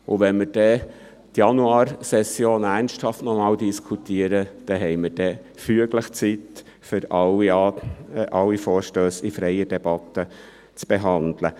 Wenn wir nochmals ernsthaft über die Januarsession diskutieren, dann hätten wir füglich Zeit, um alle Vorstösse in freier Debatte zu behandeln.